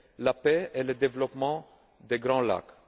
la paix et le développement des Grands Lacs.